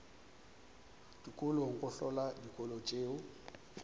dikolong go hlola dikolo tšeo